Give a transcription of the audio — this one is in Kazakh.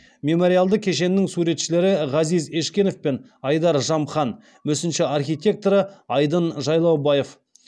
мемориалды кешеннің суретшілері ғазиз ешкенов пен айдар жамхан мүсінші архитекторы айдын жайлаубаев